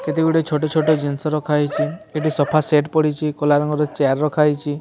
କେତେ ଗୁଡିଏ ଛୋଟ ଛୋଟ ଜିନିସ ରଖାହେଇଚି ଏଠି ସୋଫା ସେଟ୍ ପଡ଼ିଚି କଲା ରଙ୍ଗର ଚେୟାର ରଖାହେଇଚି।